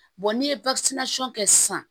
n'i ye kɛ sisan